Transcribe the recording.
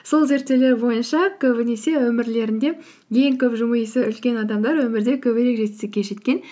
сол зерттеулер бойынша көбінесе өмірлерінде ең көп жымиысы үлкен адамдар өмірде көбірек жетістікке жеткен